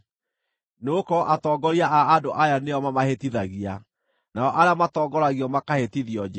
Nĩgũkorwo atongoria a andũ aya nĩo mamahĩtithagia, nao arĩa matongoragio makahĩtithio njĩra.